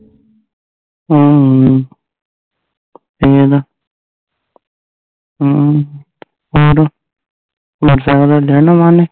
ਅਮ ਕਿਵੇ ਦਾ ਅਮ ਫੇਰ ਵੱਡਿਆ ਨਾਲ਼ ਕਰਨੀ